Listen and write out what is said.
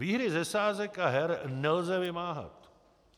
Výhry ze sázek a her nelze vymáhat;